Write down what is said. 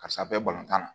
Karisa bɛ balontan na